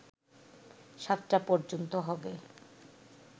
৭টা পর্যন্ত হবে